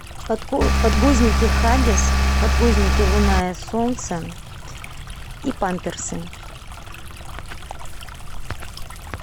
подгузники хагис подгузники луна и солнце и памперсы